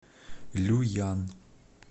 люян